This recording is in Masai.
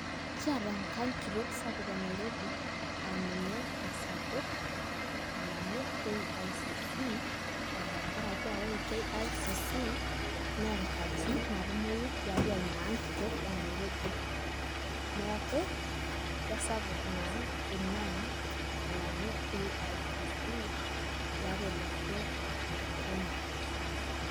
Kiata enkang' kitok sapuk e Nairobi aa ninye esapuk alang'u KICC aa tengarake ore KICC naa enkaji natumoyu tiaatu ina ang' kitok e Nairobi neeku keisapuk naa ina ang' alang'u KICC tiatua olosho le Kenya.